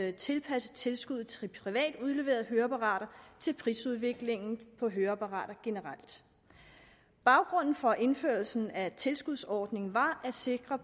at tilpasse tilskuddet til privat udleverede høreapparater til prisudviklingen på høreapparater generelt baggrunden for indførelsen af tilskudsordningen var at sikre